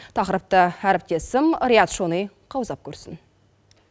тақырыпты әріптесім риат шони қаузап көрсін